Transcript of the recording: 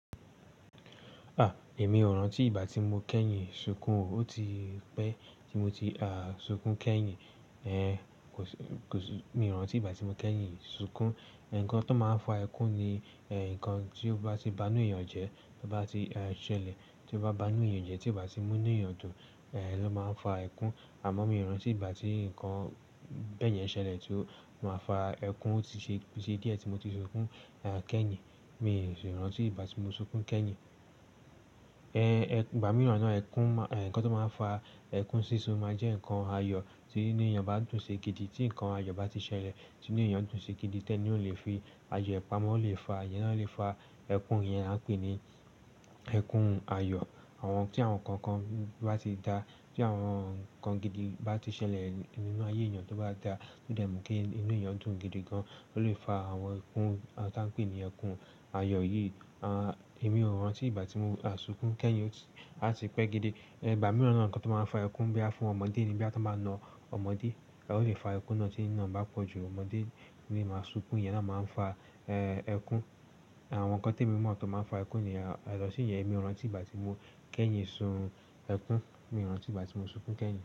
A! Èmi ò rántí ìgbà tí mo kẹ́yìn sunkún o. Ó ti pẹ́ tí mo ti a sunkún kẹ́yìn. Ẹ̀n, kò sì, kò sì, mi ò rántí ìgbà tí mo kẹ́yìn sunkún. Ẹ̀n, nnkan tó máa ń fa ẹkún ni ẹ̀, nǹkan tí ó bá ti banú èèyàn jẹ, tí ó bá ti a ṣẹlẹ̀, tí ó bá banú èèyàn jẹ, tí ì bá ti mú ní èèyàn dùn, ẹ̀, ló máa ń fa ẹkún. Àmọ́ mi ò rántí ìgbà tí nǹkan bẹ́yẹn ṣẹlẹ̀, tí ó máa fa ẹkún ó ti ṣe, ṣe díẹ̀ tí mo ti sunkún a kẹ́yìn. Mi ò sì rántí ìgbà tí mo sunkún kẹ́yìn. Ẹ̀n, ìgbà mìíràn náà ẹkún má-- ẹ̀, nnkan tó máa ń fa ẹkún sísun máa jẹ́ nnkan ayọ̀ tí inu èèyàn bá dùn ṣi gidi, tí ǹnkan ayọ̀ bá ti ṣẹlẹ̀ tí inu èèyàn dùn ṣe gidi, tẹ́ni ó lè fi ayọ̀ pamọ́, ó lè fa, iyen náà lè fa ẹkún. Iyẹn a ń pè ní ẹkún ayọ̀. Àwọn, tí àwọn nǹkan kan bá ti dá, tí àwọn nnkan gidi bá ti ṣẹlẹ̀ nínú ayé èèyàn tó bá dá tó dà mú kí inú èèyàn dùn gidi gan-an, ó lè fa àwọn ẹkún, àń tí a ń pè ní ẹkún ayọ̀ yìí. A, èmi ò rántí ìgbà tí mo a sunkún kẹ́yìn, ó ti, a ti pẹ́ gidi. Igbà mííràn náà nnkan tó máa ń fa ẹkún boya fún ọmọdé ni. Boya tan bá na ọmọdé, a ó lè fa ẹkún náà tí niná bá pọ̀jù. Ọmọdé ni ì máa sunkún, ìyẹn náà máa ń fa ẹkún. Àwọn nǹkan tí èmi mọ̀ tó máa ń fa ẹkún nìyẹn, yàtò ṣí yẹn èmi ò rántí ìgbà tí mo kẹ́yìn sun ẹkún. Mi ò rántí ìgbà tí mo sunkún kẹ́yìn.